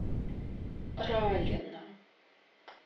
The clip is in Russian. ралина